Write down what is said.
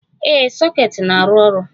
Ee, soket na-arụ ọrụ.